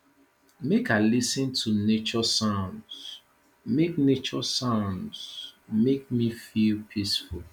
make i lis ten to nature sounds make nature sounds make me feel peaceful